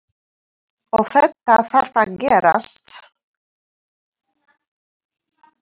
Og þetta þarf að gerast.